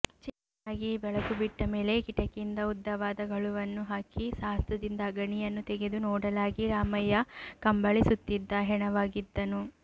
ಚೆನ್ನಾಗಿ ಬೆಳಕು ಬಿಟ್ಟಮೇಲೆ ಕಿಟಕಿಯಿಂದ ಉದ್ದವಾದ ಗಳುವನ್ನು ಹಾಕಿ ಸಾಹಸದಿಂದ ಅಗಣಿಯನ್ನು ತೆಗೆದು ನೋಡಲಾಗಿ ರಾಮಯ್ಯ ಕಂಬಳಿ ಸುತ್ತಿದ್ದ ಹೆಣವಾಗಿದ್ದನು